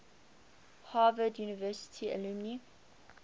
harvard university alumni